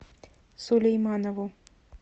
сулейманову